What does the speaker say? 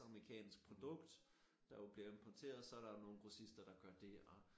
Amerikansk produkt der jo bliver importeret så er der jo nogen grossister der gør dét og